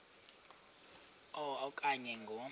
a okanye ngo